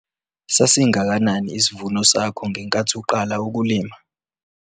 Sasingakanani isivuno sakho ngenkathi uqala ukulima?